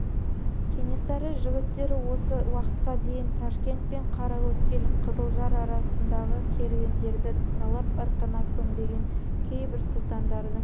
кенесары жігіттері осы уақытқа дейін ташкент пен қараөткел қызылжар арасындағы керуендерді талап ырқына көнбеген кейбір сұлтандардың